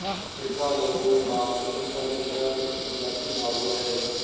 ਚਿੱਟਾ ਲਹੂ ਨਾਨਕ ਸਿੰਘ ਦਾ ਲਿਖਿਆ ਇੱਕ ਪੰਜਾਬੀ ਨਾਵਲ ਹੈ